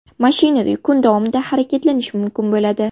Mashinada kun davomida harakatlanish mumkin bo‘ladi.